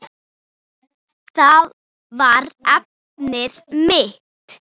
Það var efnið mitt.